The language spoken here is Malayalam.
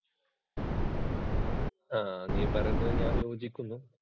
ആ നീ പറയുന്നത് ഞാൻ യോജിക്കുന്നു.